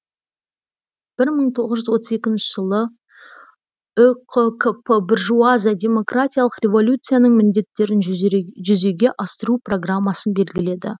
бір мың тоғыз жүз отыз екінші жылы үқкп буржуазия демократиялық революцияның міндеттерін жүзеге асыру программасын белгіледі